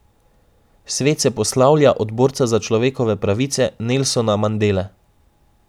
Svet se poslavlja od borca za človekove pravice Nelsona Mandele.